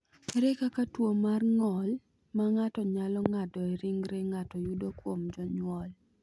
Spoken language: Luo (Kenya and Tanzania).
Ere kaka tuwo mar ng’ol ma ng’ato nyalo ng’ado e ringre ng’ato yudo kuom jonyuol?